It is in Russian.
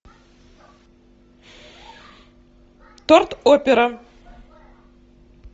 торт опера